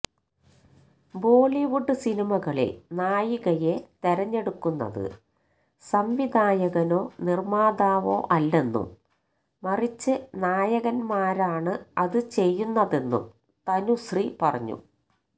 ബോളിവുഡ് സിനിമകളില് നായികയെ തെരഞ്ഞെടുക്കുന്നത് സംവിധായകനോ നിര്മ്മാതാവോ അല്ലെന്നും മറിച്ച് നായകന്മാരാണ് അത് ചെയ്യുന്നതെന്നും തനുശ്രീ പറഞ്ഞു